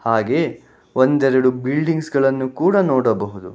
ಹಾಗೆ ಒಂದೆರೆಡು ಬಿಲ್ಡಿಂಗ್ಸ್ಗಳನ್ನು ಕೂಡ ನೋಡಬಹುದು.